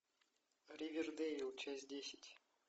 ривердейл часть десять